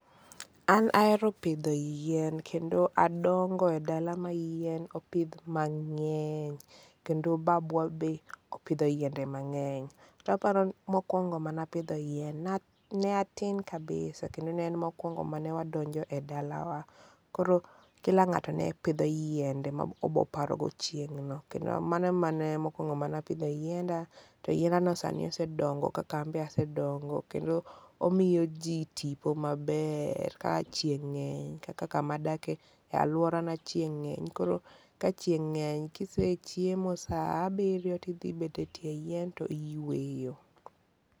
An ahero pidho yien kendo adongo e dala ma yien opidh mang'eny, kendo babwa bende opidho yiende mang'eny. To aparo mokuongo mana ne atin kabisa ne en mokwongo manewadonjo e dalawa. koro Kila ng'ato ne pidho yiende maoboparogo chieng' no. Kendo mano mane mokwongo mane apdho yienda, to yienda no sani osedongo kaka anbe asedongo. Kendo omiyo ji tipo maber ka chieng' ng'eny kaka ka madake, e aluora na chieng' ng'eny koro ka chieng ng'eny kisechiemo saa abiriyo ti idhi bet e tie yien to iyueyo.